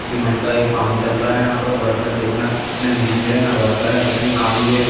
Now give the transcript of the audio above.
Cement का ये काम चल रहा है। यहाँ पर वर्कर देखना ना इंजीनियर है ना वर्कर हैं पता नहीं काम ये --